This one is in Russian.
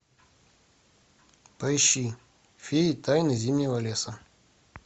поищи феи тайна зимнего леса